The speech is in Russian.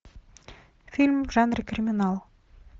фильм в жанре криминал